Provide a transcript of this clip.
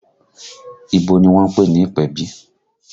Ibo ni wọ́n ń pè ní ìpèbí?